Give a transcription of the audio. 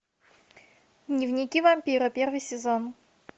дневники вампира первый сезон